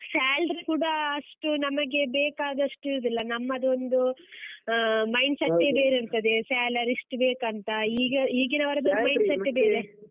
Salary ಕೂಡಾ ಅಷ್ಟು ನಮಗೆ ಬೇಕಾದಷ್ಟಿರುದಿಲ್ಲ, ನಮ್ಮದೊಂದು ಅಹ್ mind set ಬೇರೆ ಇರ್ತದೆ salary ಇಷ್ಟು ಬೇಕಂತ ಈಗ ಈಗಿನವರದ್ದು .